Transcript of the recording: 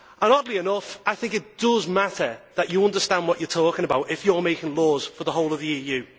Oddly enough, I think it does matter that you understand what you are talking about if you are making laws for the whole of the EU.